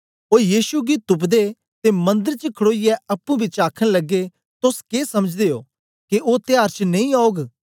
ओ यीशु गी तुप्दे ते मंदर च खडोईयै अप्पुं पिछें आखन लगे तोस के समझदे ओ के ओ त्यार च नेई औग